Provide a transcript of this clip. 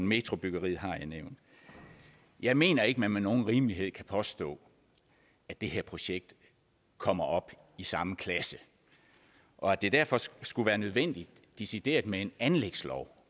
metrobyggeriet har jeg nævnt jeg mener ikke at man med nogen rimelighed kan påstå at det her projekt kommer op i samme klasse og at det derfor skulle være nødvendigt decideret med en anlægslov